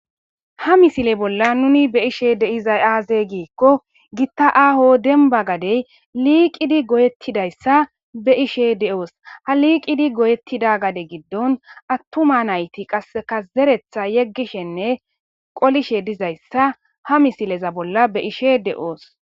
ha misile bolla nuni be7ishe de7iza aaze giikko gitta aaho denba gadey liiqidi goyettidayssa be ishe de7oos ha liiqidi goyettida gade giddon attuma nayti qasseka zeretha yeggishenne qolishe dizayssa ha misileza bolla be ishe de7oos